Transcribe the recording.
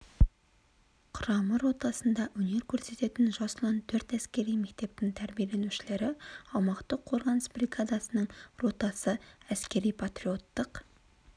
құрама ротасында өнер көрсететін жас ұлан төрт әскери мектептің тәрбиеленушілері аумақтық қорғаныс бригадасының ротасы әскери-патриоттық